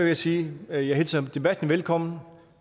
jeg sige at jeg hilser debatten velkommen